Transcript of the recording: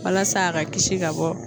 Walasa a ka kisi ka bɔ